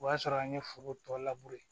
O y'a sɔrɔ an ye foro tɔ labure